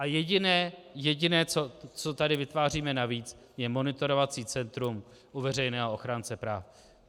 A jediné, co tady vytváříme navíc, je monitorovací centrum u veřejného ochránce práv.